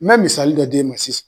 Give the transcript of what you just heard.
N me misali dɔ d'e ma sisan